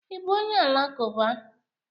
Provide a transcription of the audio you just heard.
Ị bụ onye Alakụba?